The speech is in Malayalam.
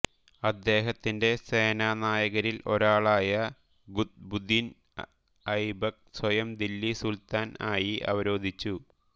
അദ്ദേഹത്തിന്റെ സേനാനായകരിൽ ഒരാളായ ഖുത്ബുദ്ദീൻ ഐബക്ക് സ്വയം ദില്ലി സുൽത്താൻ ആയി അവരോധിച്ചു